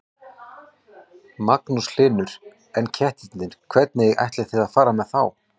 Magnús Hlynur: En kettirnir, hvernig ætlið þið að fara með þá?